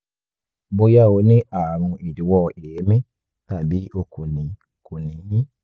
bóyá o ní ààrùn ìdíwọ́ èémí tàbí o kò ní kò ní i